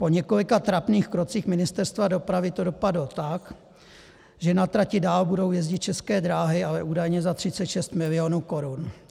Po několika trapných krocích Ministerstva dopravy to dopadlo tak, že na trati dál budou jezdit České dráhy, ale údajně za 36 milionů korun